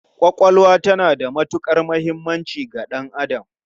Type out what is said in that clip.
Ƙwaƙwalwa tana da matuƙar muhimmanci ga ɗan'adam.